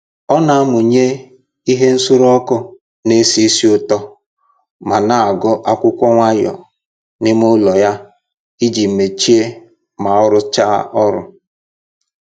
Ọ na amụnye ihe nsuru ọkụ na-esi ísì ụtọ ma na-agụ akwụkwọ nwayọ n'ime ụlọ ya iji mechie ma ọ rụchaa ọrụ